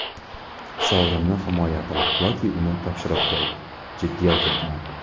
Sovrinni himoya qil yoki uni topshirib qo‘y, jiddiy aytyapman.